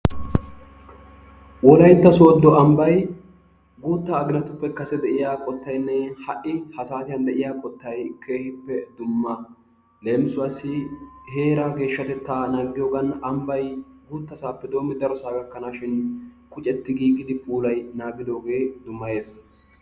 wolaytta soodo ambbay guutta aginatuppe kase de'iya qotaynne ha'i ha saatiyan de'iya qottay keehippe dumma. leemissuwaasi heeraa geeshshatettaa naagiyogan ambay guutasaappe biidi darosaa gkkanawu ambay qucetti giigidi puulayidi naagidoogee dumayees.